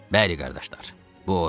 Bəli qardaşlar, bu odur!